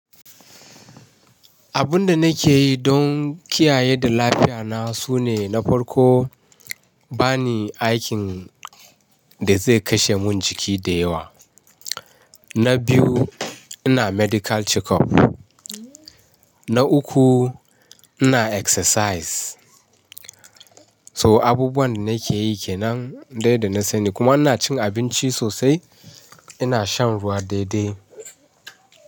Abun da nake yi don kiyaye da lafiya na su ne na farko ba ni aikin da zai kashe mun jiki da yawa. Na biyu ina medical checkup. Na uku ina exercise. So abubuwan da nake yi kenan dai da na sani kuma ina cin abinci sosai ina shan ruwa daidai.